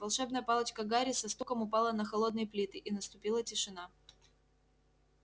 волшебная палочка гарри со стуком упала на холодные плиты и наступила тишина